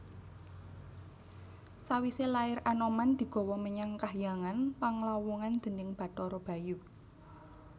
Sawisé lair Anoman digawa menyang kahyangan Panglawungan déning Bathara Bayu